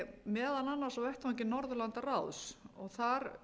meðal annars á vettvangi norðurlandaráðs þar